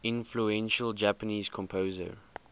influential japanese composer